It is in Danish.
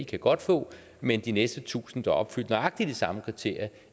kan godt få men de næste tusind der opfylder nøjagtig de samme kriterier